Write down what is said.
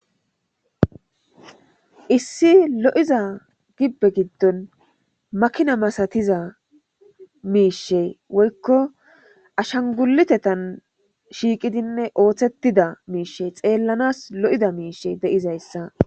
Issi lo'iza gibbe giddon makinna masatiza mishshay woyko ashshanguliteththan shiqidinne oththettida miishsha xeelanas lo'ida miishshe di'izayssa.